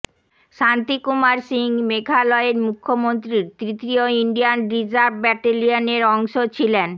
শান্তিকুমার সিং মেঘালয়ের মুখ্যমন্ত্রীর তৃতীয় ইন্ডিয়ান রিজার্ভ ব্যাটেলিয়নের অংশ ছিলেন